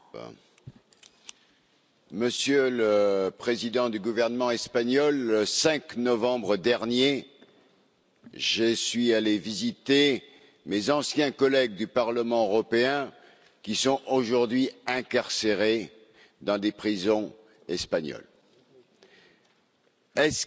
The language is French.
Monsieur le Président, Monsieur le Président du gouvernement espagnol, le 5 novembre dernier, je suis allé rendre visite à mes anciens collègues du Parlement européen qui sont aujourd'hui incarcérés dans des prisons espagnoles. Est ce qu'il est aujourd'hui imaginable